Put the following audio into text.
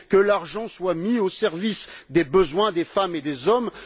Que l'argent soit mis au service des besoins des femmes et des hommes.